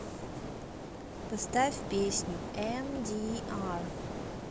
поставь песню эмдиар